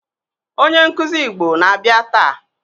Onye nkuzi Igbo na-abịa taa